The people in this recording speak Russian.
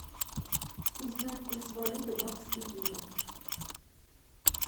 узнать курс валюты бакс и евро